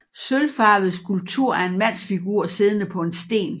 Sølvfarvet skulptur af en mandsfigur siddende på en sten